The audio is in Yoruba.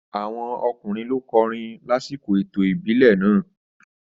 Àwọn ọkùnrin ló *kọrin lásìkò ètò ìbílẹ̀ náà.